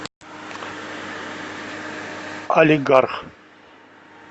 алигарх